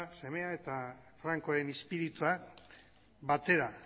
semea eta frankoaren izpiritua batera